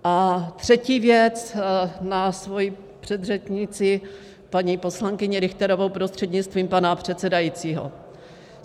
A třetí věc na svoji předřečnici paní poslankyni Richterovou, prostřednictvím pana předsedajícího.